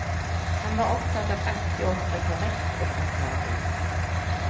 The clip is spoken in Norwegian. Han var opptatt av alltid å opptre korrekt og rettferdig.